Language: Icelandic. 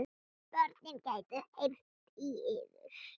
Börnin gætu heyrt í yður.